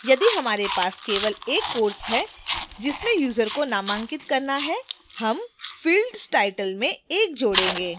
यदि हमारे पास केवल एक course है जिसमें user को नामांकित करना है हम fields title में 1 जोडेंगे